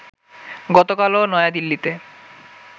গতকালও নয়াদিল্লিতে